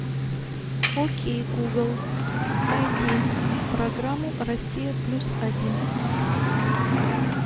окей гугл найди программу россия плюс один